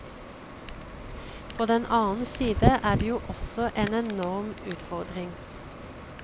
På den annen side er det jo også en enorm utfor dring.